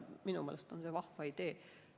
Minu meelest on see vahva idee.